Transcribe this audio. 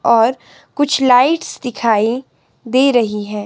और कुछ लाइट्स दिखाई दे रही हैं।